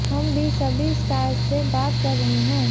हम भी सभी स्टार्स से बात कर रहे हैं